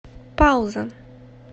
пауза